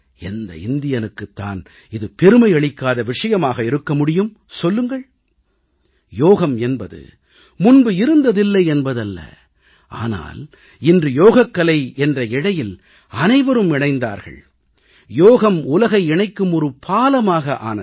எந்த இந்தியனுக்குத் தான் இது பெருமை அளிக்காத விஷயமாக இருக்க முடியும் சொல்லுங்கள் யோகம் என்பது முன்பு இருந்ததில்லை என்பதல்ல ஆனால் இன்று யோகக்கலை என்ற இழையில் அனைவரும் இணைந்தார்கள் யோகம் உலகை இணைக்கும் ஒரு பாலமாக ஆனது